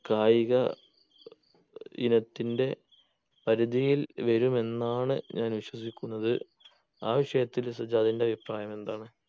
കായിക ഇനത്തിന്റെ പരിതിയിൽ വരുമെന്നാണ് ഞാൻ വിശ്വസിക്കുന്നത് ആ വിഷയത്തിൽ സജാദിന്റെ അഭിപ്രായം എന്താണ്?